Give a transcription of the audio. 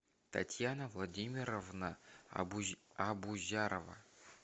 татьяна владимировна абузярова